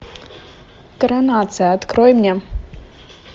коронация открой мне